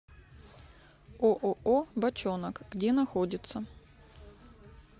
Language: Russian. ооо бочонок где находится